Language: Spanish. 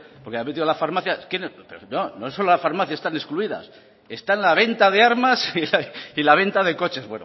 porque ha metido la farmacia no solo las farmacias están excluidas esta la venta de armas y la venta de coches